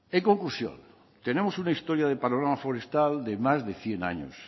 en conclusión tenemos una historia de panorama forestal de más de cien años